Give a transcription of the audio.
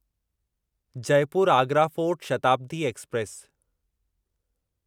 Jaipur Agra fort Shatabdi express